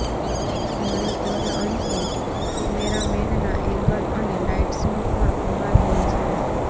ઘણે ઘરે અંશે કેમેરામેનના એંગલ અને લાઇટ્સનો પણ કમાલ હોય છે